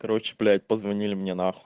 короче блять позвонили мне нахуй